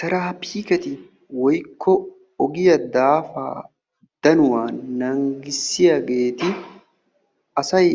Terafikketi woykko ogiyaa daafa danuwaa naanggissiyageeti asay